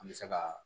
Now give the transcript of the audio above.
An bɛ se ka